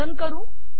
run करू